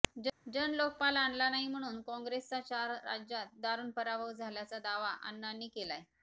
जनलोकपाल आणला नाही म्हणून काँग्रेसचा चार राज्यात दारूण पराभव झाल्याचा दावा अण्णांनी केलाय